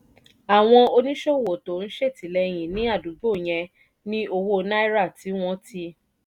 àwọn oníṣòwò tó ń ṣètìlẹ́yìn ní àdúgbò yẹn ní owó naira tí wọ́n ti